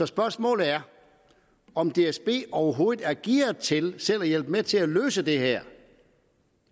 spørgsmålet er om dsb overhovedet er gearet til selv at hjælpe til med at løse det her